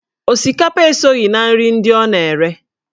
Osikapa esoghị na nri ndị ọ na-ere